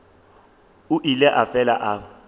o ile a fela a